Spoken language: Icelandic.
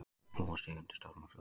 Búa sig undir storm og flóð